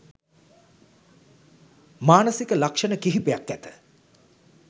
මානසික ලක්‍ෂණ කිහිපයක් ඇත.